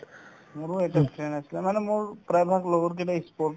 মোৰো এটা friend আছিলে মানে মোৰ ই sport